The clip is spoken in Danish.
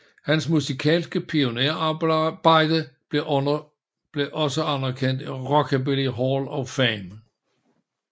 Hans musikalske pionærarbejde blev også anerkendt af Rockabilly Hall of Fame